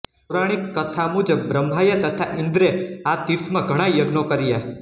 પૌરાણિક કથા મુજબ બ્રહ્માએ તથા ઈન્દ્રે આ તીર્થમાં ઘણા યજ્ઞો કર્યા